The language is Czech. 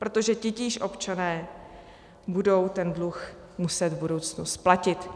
Protože titíž občané budou ten dluh muset v budoucnu splatit.